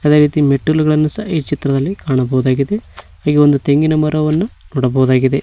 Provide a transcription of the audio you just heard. ಅದೇ ರೀತಿ ಮೆಟ್ಟಿಲುಗಳನ್ನು ಸಹ ಈ ಚಿತ್ರದಲ್ಲಿ ಕಾಣಬಹುದಾಗಿದೆ ಇಲ್ಲೊಂದು ತೆಂಗಿನ ಮರವನ್ನು ನೋಡಬಹುದಾಗಿದೆ.